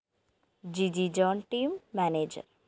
Jiji John team manager